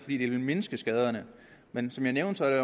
ville mindske skaderne men som jeg nævnte er